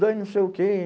Ai, não sei o quê.